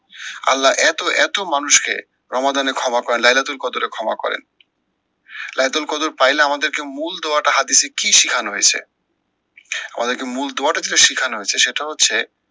আল্লা এত এত মানুষকে রমাদানে ক্ষমা করেন ক্ষমা করেন। লাইদুর কদুর পাইলে আমাদেরকে মূল দোয়াটা হাদিসে কি শিখানো হয়েছে? আমাদেরকে মূল দোয়াটা যেটা শিখানো হয়েছে সেটা হচ্ছে,